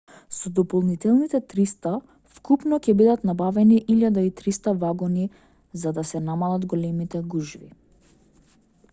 со дополнителните 300 вкупно ќе бидат набавени 1300 вагони за да се намалат големите гужви